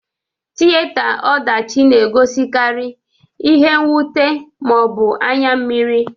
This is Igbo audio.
Tiyeta ọdachị na egosikari ihe nwute ma ọ bụ anya mmịrị.